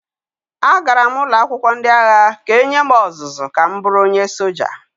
Agara m ụlọ akwụkwọ ndị agha ka e nye m ọzụzụ ka m bụrụ onye soja